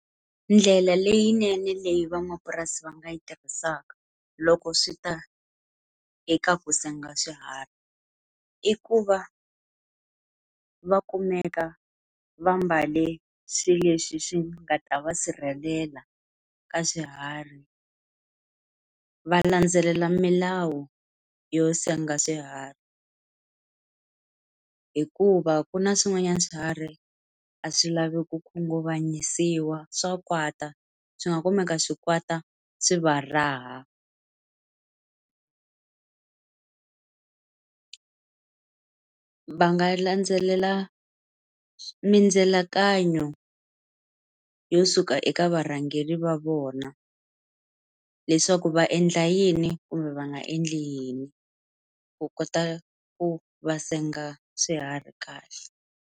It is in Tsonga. Ndlela leyinene leyi van'wapurasi va nga yi tirhisaka loko swi ta eka ku senga swiharhi. I ku va va kumeka va mbale swilo leswi swi nga ta va sirhelela ka swiharhi, va landzelela milawu yo senga swiharhi. Hikuva ku na swin'wanyana swihari a swi lavi ku khunguvanyisawa, swa kwata, swi nga kumeka swi kwata swi va raha. Va nga landzelela mindzilakanyo yo suka eka varhangeri va vona. Leswaku va endla yini kumbe va nga endli yini, ku kota ku va senga swiharhi kahle.